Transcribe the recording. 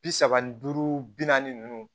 Bi saba ni duuru bi naani ninnu